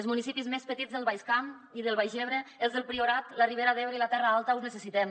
els municipis més petits del baix camp i del baix ebre els del priorat la ribera d’ebre i la terra alta us necessitem